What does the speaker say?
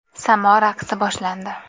Samo raqsi boshlandi.